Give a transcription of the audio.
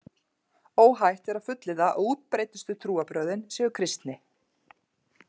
Óhætt er að fullyrða að útbreiddustu trúarbrögðin séu kristni.